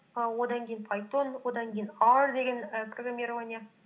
і одан кейін пайтон одан кейін ар деген і программирование